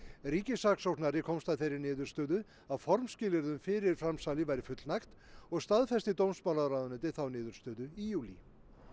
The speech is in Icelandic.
ríkissaksóknari komst að þeirri niðurstöðu að formskilyrðum fyrir framsali væri fullnægt og staðfesti dómsmálaráðuneytið þá niðurstöðu í júlí